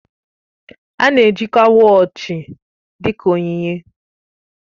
A na-ejikwa wọọchi dị ka onyinye